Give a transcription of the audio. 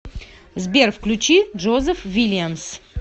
сбер включи джозеф вильямс